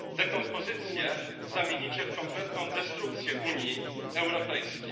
dekompozycję zamienicie w kompletną destrukcję Unii Europejskiej.